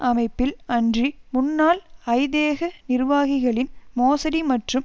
அமைப்பில் அன்றி முன்னாள் ஐதேக நிர்வாகிகளின் மோசடி மற்றும்